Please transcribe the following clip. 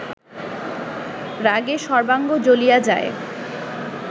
রাগে সর্বাঙ্গ জ্বলিয়া যায়